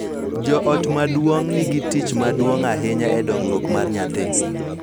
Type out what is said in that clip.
Jo ot maduong� nigi tich maduong� ahinya e dongruok mar nyathi,